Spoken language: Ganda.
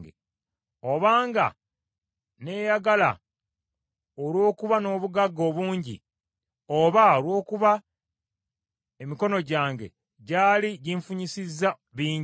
obanga neeyagala olw’okuba n’obugagga obungi, oba olw’okuba emikono gyange gy’ali ginfunyisizza bingi;